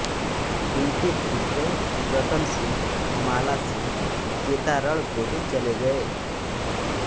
इनके पुत्र रतनसिंह मालसिंह जेतारण गोद चले गए